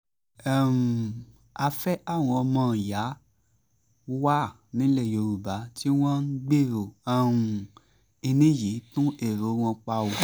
a fẹ́ káwọn ọmọọ̀yà wà nílẹ̀ yorùbá tí wọ́n ń gbèrò kínní yìí tún èrò wọn pa o